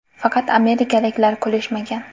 Faqat amerikaliklar kulishmagan.